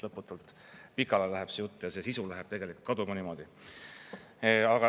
Lõputult pikale läheb see jutt ja sisu läheb tegelikult kaduma niimoodi.